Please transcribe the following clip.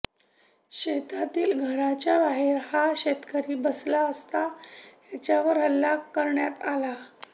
शेतातील घराच्याबाहेर हा शेतकरी बसला असता त्याच्यावर हल्ला करण्यात आला